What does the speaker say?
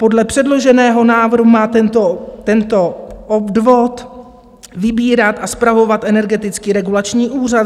Podle předloženého návrhu má tento odvod vybírat a spravovat Energetický regulační úřad.